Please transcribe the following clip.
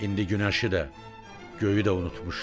İndi günəşi də, göyü də unutmuşdu.